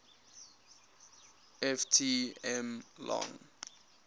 ft m long